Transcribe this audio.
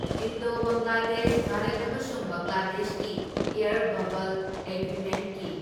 Indo Bangladesh Bharat ꯑꯃꯁꯨꯡ ꯕꯪꯒ꯭ꯂꯥꯗꯦꯁꯀꯤ air bubble ꯑꯦꯒ꯭ꯔꯤꯃꯦꯟꯀꯤ